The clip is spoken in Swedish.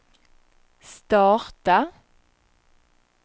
starta